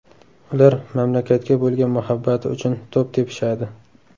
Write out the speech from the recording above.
Ular mamlakatga bo‘lgan muhabbati uchun to‘p tepishadi.